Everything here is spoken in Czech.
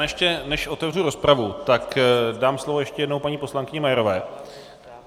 Ještě než otevřu rozpravu, tak dám slovo ještě jednou paní poslankyni Majerové.